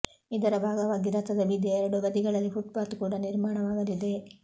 ಇದರ ಭಾಗವಾಗಿ ರಥದ ಬೀದಿಯ ಎರಡು ಬದಿಗಳಲ್ಲಿ ಫುಟ್ಪಾತ್ ಕೂಡ ನಿರ್ಮಾಣವಾಗಲಿದೆ